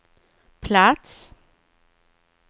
plats